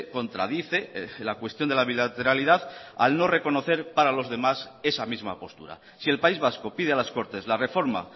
contradice la cuestión de la bilateralidad al no reconocer para los demás esa misma postura si el país vasco pide a las cortes la reforma